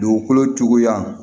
Dugukolo cogoya